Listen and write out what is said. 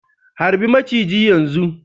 harbi maciji yanzu